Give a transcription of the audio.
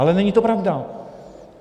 Ale není to pravda.